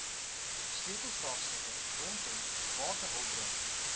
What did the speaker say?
sleutelvraagstukke rondom waterhulpbronne